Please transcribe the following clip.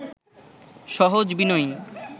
সহজ, বিনয়ী